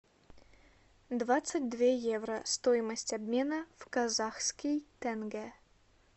двадцать две евро стоимость обмена в казахский тенге